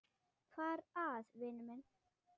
Hvað er að, vinur minn?